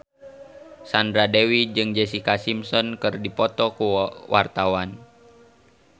Sandra Dewi jeung Jessica Simpson keur dipoto ku wartawan